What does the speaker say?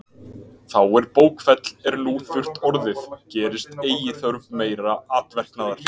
Þá er bókfell er nú þurrt orðið, gerist eigi þörf meira atverknaðar.